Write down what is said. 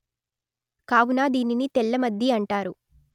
కావున దీనిని తెల్లమద్ది అంటారు